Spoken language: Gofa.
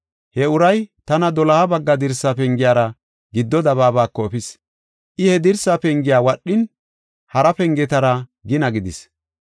He uray tana doloha bagga dirsa pengiyara giddo dabaabako efis. I he dirsa pengiya wadhin, hara pengetara gina gidis.